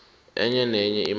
enye nenye imali